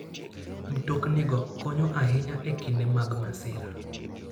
Mtoknigo konyo ahinya e kinde mag masira.